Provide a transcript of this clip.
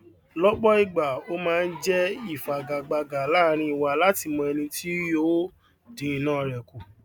lópò ìgbà o máa n jé ìfagagbága láàrín wa láti mọ ẹni tí o yóò dín iná rè kù